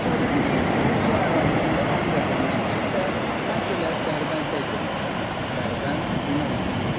Təsadüfi deyil ki, Rusiya ərazisində ən qədim məscid də məhz elə Dərbənddə yerləşir: Dərbənd Cümə Məscidi.